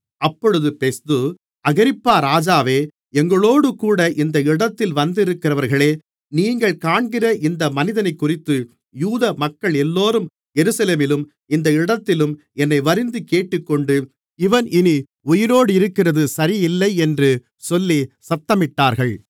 அப்பொழுது Festus Agrippa ராஜாவே எங்களோடுகூட இந்த இடத்தில் வந்திருக்கிறவர்களே நீங்கள் காண்கிற இந்த மனிதனைக்குறித்து யூதமக்களெல்லோரும் எருசலேமிலும் இந்த இடத்திலும் என்னை வருந்திக் கேட்டுக்கொண்டு இவன் இனி உயிரோடிருக்கிறது சரியில்லை என்று சொல்லிச் சத்தமிட்டார்கள்